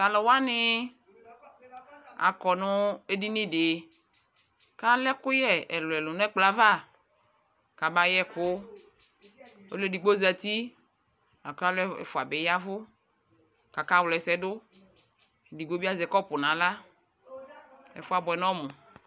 Talu wane akɔ no edini de ka lɛ ɛkuyɛ ɛluɛlu nɛ kplɔ ava ka ba yɛku Ɔlu edigbo zati la ko alu ɛfua be yavu kaka wla ɛsɛ doEdigbo be azɛ kɔpu nahla Ɛfuɛ abuɛ nɔmu